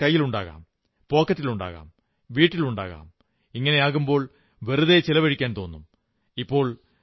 ചിലപ്പോൾ പണം കൈയിലുണ്ടാകും പോക്കറ്റിലുണ്ടാകും വീട്ടിലുണ്ടാകും എന്നാകുമ്പോൾ വെറുതെ ചിലവാക്കാൻ തോന്നും